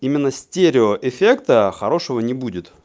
именно стерео эффекта хорошего не будет